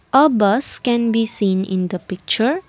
a bus can be seen in the picture.